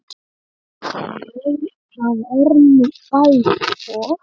Það er nú bæði og.